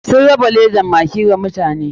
Sun raba ledan maggi wa mutane.